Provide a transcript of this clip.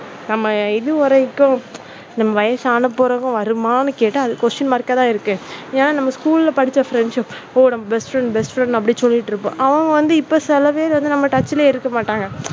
நம்ம எது வரைக்கும் நம்ம வயசான பிறகும் வருமா அப்படின்னு கேட்டா, question mark தான் இருக்கு ஏன்னா நம்ம school படிச்ச friendship best friend best friend அப்படின்னு சொல்லிட்டு இருப்போம். அத வந்து இப்போ சில பேரு வந்து நம்ம touch ல இருக்க மாட்டாங்க.